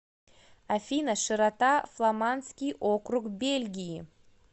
афина широта фламандский округ бельгии